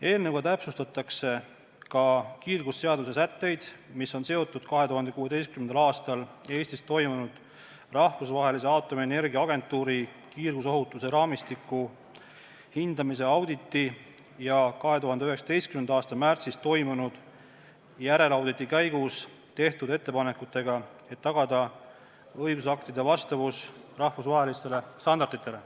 Eelnõuga täpsustatakse ka kiirgusseaduse sätteid, mis on seotud 2016. aastal Eestis toimunud Rahvusvahelise Aatomienergia Agentuuri kiirgusohutuse raamistiku hindamise auditi ja 2019. aasta märtsis toimunud järelauditi käigus tehtud ettepanekutega, et tagada õigusaktide vastavus rahvusvahelistele standarditele.